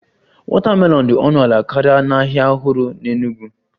Watermelon dị ọnụ ala karịa n'ahịa ọhụrụ n'Enugwu